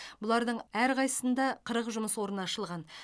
бұлардың әрқайсысында қырық жұмыс орны ашылған